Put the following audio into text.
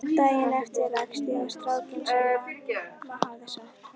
Daginn eftir rakst ég á strákinn sem mamma hafði sagt